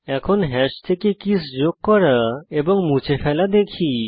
এখন হ্যাশ থেকে কীস যোগ করা এবং মুছে ফেলা দেখি